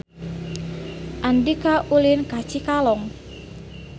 Andika ulin ka Cikalong